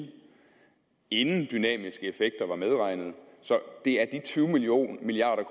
inden dynamiske effekter var medregnet så det er de tyve milliard